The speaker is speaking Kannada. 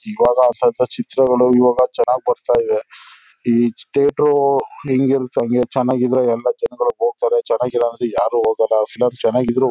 ಇವಾಗ ಸ್ವಲ್ಪ ಚಿತ್ರಗಳು ಇವಾಗ ಚನಾಗ್ ಬರ್ತ ಇದೆ ಹ್ ಥಿಯೇಟರು ಹೆಂಗ್ ಇರತ್ತೆ. ಹಂಗೆ ಚನಾಗಿದ್ರೆ ಎಲ್ಲ ಜನ್ಗಳು ಹೋಗ್ತಾರೆ ಚನಗಿಲ್ಲ ಅಂದ್ರೆ ಯಾರು ಹೋಗಲ್ಲ ಫಿಲಂ ಚನಗಿ--